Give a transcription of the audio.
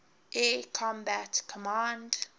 air combat command